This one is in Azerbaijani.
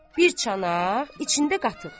Bir çanaq içində qatıq.